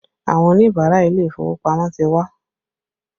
Àwọn Oníbàárà ilé ìfowópamọ́ ti wá